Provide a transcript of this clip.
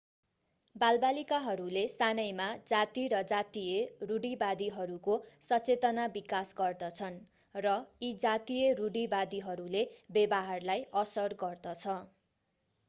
बालबालिकाहरूले सानैमा जाति र जातीय रूढिवादीहरूको सचेतना विकास गर्दछन् र यी जातीय रूढीवादीहरूले व्यवहारलाई असर गर्दछ